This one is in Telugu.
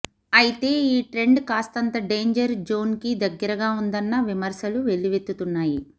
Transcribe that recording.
అయితే ఈ ట్రెండ్ కాస్తంత డేంజర్ జోన్కి దగ్గరగా ఉందన్న విమర్శలు వెల్లువెత్తుతున్నాయి